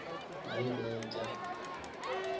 baye bee tyaa